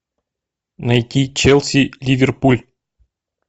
найти челси ливерпуль